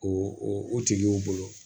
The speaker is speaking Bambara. O o tigiw bolo